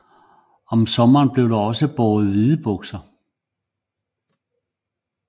Om sommeren blev der også båret hvide bukser